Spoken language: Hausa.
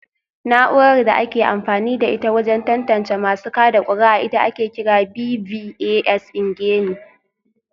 Na’urar da ake amfani da ita wajen tantance masu kada kuri’a ita ake kira BVAS ingeni